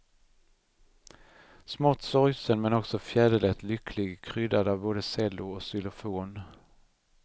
Smått sorgsen men också fjäderlätt lycklig, kryddad av både cello och xylofon.